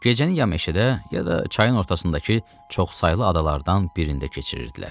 Gecəni ya meşədə, ya da çayın ortasındakı çoxsaylı adalardan birində keçirirdilər.